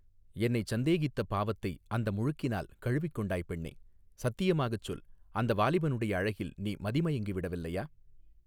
என்னைச் சந்தேகித்த பாவத்தை அந்த முழுக்கினால் கழுவிக் கொண்டாய் பெண்ணே சத்தியமாகச் சொல் அந்த வாலிபனுடைய அழகில் நீ மதிமயங்கி விடவில்லையா.